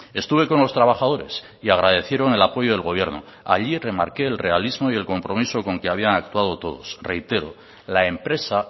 estuve con los trabajadores y agradecieron el apoyo del gobierno allí remarqué el realismo y el compromiso con el que habían actuado todos reitero la empresa